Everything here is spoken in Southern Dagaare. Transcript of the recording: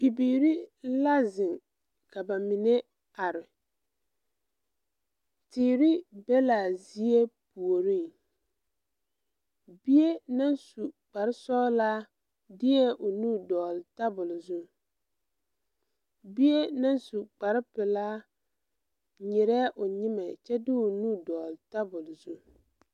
Bibiire la zeŋ ka ba mine are teere be laa zie puoriŋ bie naŋ su kparesɔglaa deɛɛ o nu dɔgle tabole zu bie naŋ su kparepelaa nyirɛɛ o nyimɛ kyɛ de o nu dɔgle tabole zu.